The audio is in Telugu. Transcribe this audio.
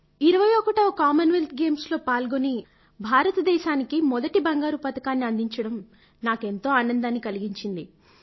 21వ కామన్వెల్త్ గేమ్స్ లో పాల్గొని భారతదేశానికి మొదటి బంగారు పతకాన్ని అందించడం నాకెంతో ఆనందాన్ని కలిగించింది